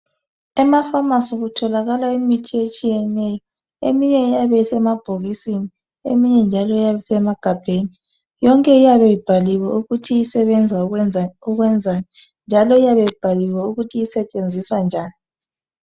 Emafamasi kutholakala imithi etshiyeneyo eminye iyabe isemabhokisini eminye njalo iyabe isemagabheni yonke iyabe ibhaliwe ukuthi isebenza ukwenzani njalo osentshenziswa kanjani.